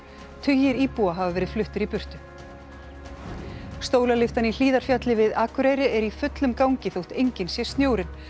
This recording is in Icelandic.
tugir íbúa hafa verið fluttir í burtu í Hlíðarfjalli við er í fullum gangi þótt enginn sé snjórinn